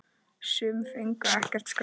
Sum fengu ekkert skraut.